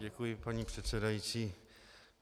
Děkuji, paní předsedající.